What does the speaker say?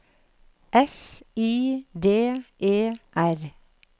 S I D E R